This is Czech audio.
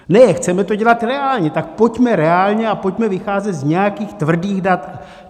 Ne, chceme to dělat reálně, tak pojďme reálně a pojďme vycházet z nějakých tvrdých dat.